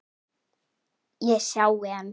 Ég sjái hann.